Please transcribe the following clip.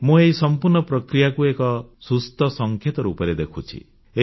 ମୁଁ ଏହି ସମ୍ପୂର୍ଣ୍ଣ ପ୍ରକ୍ରିୟାକୁ ଏକ ସୁସ୍ଥ ସଂକେତ ରୂପରେ ଦେଖୁଛି